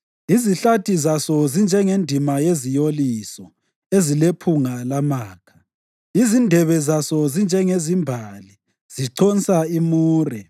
Izihlathi zaso zinjengendima yeziyoliso ezilephunga lamakha. Izindebe zaso zinjengezimbali, ziconsa imure.